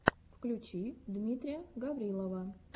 включи дмитрия гаврилова